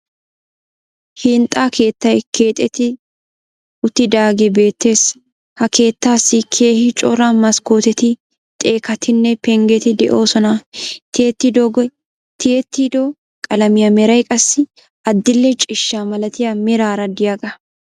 Hinxxa keettay keexxeti uttidaagee beettees. Ha keettaassi keehi cora maskkootetti xekkatinne pengeti de'oosona. Tiyetiddo qalamiya meray qassi adil"e ciishshaa malatiya meraara de'iyaga.